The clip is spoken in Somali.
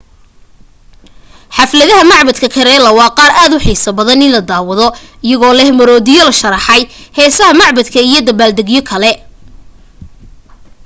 xafladaha macbadka kerala waa qaar aad u xiiso badan in la daawado iyagoo leh maroodiyo la sharxay heesaha macbadka iyo dabbaal degyo kale